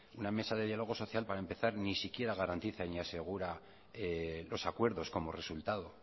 no mesa de diálogo social para empezar ni siquiera garantiza ni asegura los acuerdos como resultado